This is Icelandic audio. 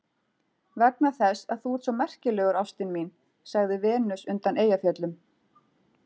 Vegna þess að þú ert svo merkilegur ástin mín, sagði Venus undan Eyjafjöllum.